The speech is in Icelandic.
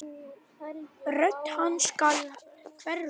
Rödd hans skal hverfa.